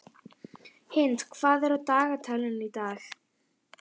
Hind, hvað er á dagatalinu í dag?